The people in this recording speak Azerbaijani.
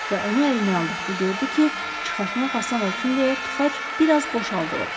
Və onu əlinə aldıqda gördü ki, çıxartmaq asan olsun deyə tıxac bir az boşaldılıb.